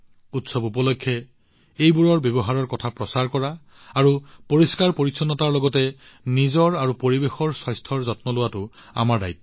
উৎসৱ উপলক্ষে এইসমূহ প্ৰচাৰ কৰা আৰু পৰিষ্কাৰপৰিচ্ছন্নতাৰ লগতে আমাৰ নিজৰ আৰু পৰিৱেশৰ স্বাস্থ্যৰ যত্ন লোৱাটো আমাৰ দায়িত্ব